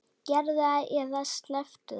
Gerðu það eða slepptu því.